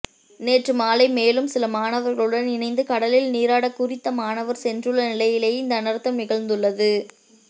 நேற்று மாலை மேலும் சில மாணவர்களுடன் இணைந்து கடலில் நீராட குறித்த மாணவர் சென்றுள்ள நிலையிலுயே இந்த அனர்த்தம் நிகழ்ந்துள்ளது